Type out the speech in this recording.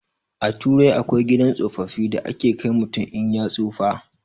A turai akwai gidan tsofaffi da ake kai mutum in ya tsufa